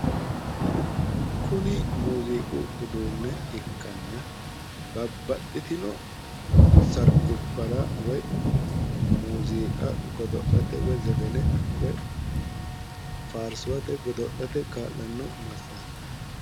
Kuni muuziiqu uduunne ikkanna, babbaxitino sargubbara woyi muuziiqa godo'late woyi zefene woyi faarsuwate godo'late kaa'lanno massaara.